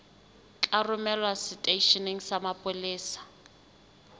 tla romelwa seteisheneng sa mapolesa